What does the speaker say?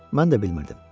Mən də bilmirdim.